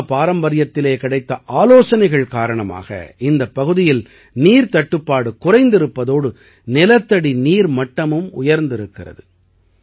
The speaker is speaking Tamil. ஹல்மா பாரம்பரியத்திலே கிடைத்த ஆலோசனைகள் காரணமாக இந்தப் பகுதியில் நீர்த் தட்டுப்பாடு குறைந்திருப்பதோடு நிலத்தடி நீர் மட்டமும் உயர்திருக்கிறது